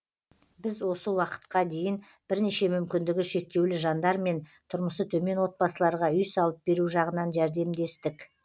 біз осы уақытқа дейін бірнеше мүмкіндігі шектеулі жандар мен тұрмысы төмен отбасыларға үй салып беру жағынан жәрдемдестік